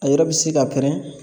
A yɛrɛ bi se ka pɛrɛn